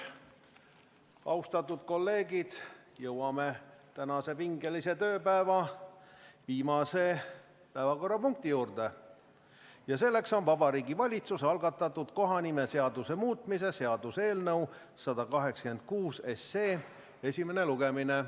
Austatud kolleegid, nüüd jõuame tänase pingelise tööpäeva viimase päevakorrapunkti juurde ja selleks on Vabariigi Valitsuse algatatud kohanimeseaduse muutmise seaduse eelnõu 186 esimene lugemine.